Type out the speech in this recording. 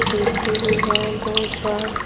खिड़की भी है दो चार--